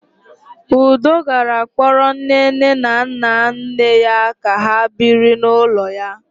Udo gara kpọrọ nnenne na nnanne ya ka ha biri n'ụlọ ya.